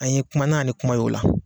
A ye kuma na ni kuma ye o la.